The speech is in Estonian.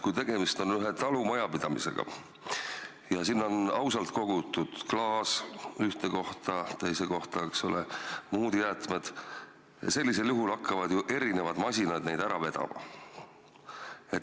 Kui tegemist on ühe talumajapidamisega ja sinna on ausalt kogutud klaas ühte kohta, teise kohta muud jäätmed, siis hakkavad ju erinevad masinad neid ära vedama.